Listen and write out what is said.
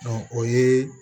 o ye